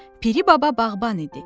Piri baba bağban idi.